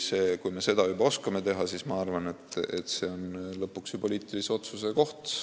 Kui me seda juba oskame, siis ma arvan, et see on lõpuks ju poliitilise otsuse koht.